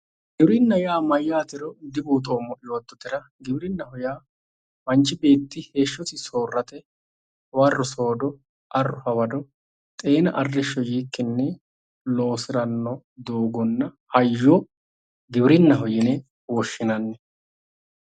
Giwirinnaho yaa mayyaatero dibuuxoommo yoottotera, manchi beetti heeshshosi soorrate hawarro soodo arro hawado xeena arrishsho yiikkinni loosiranno doogonna hayyo giwirinnaho yine woshshinanni.